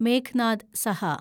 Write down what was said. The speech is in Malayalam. മേഘ്നാദ് സഹ